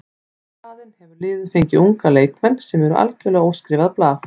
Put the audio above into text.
Í staðinn hefur liðið fengið unga leikmenn sem eru algjörlega óskrifað blað.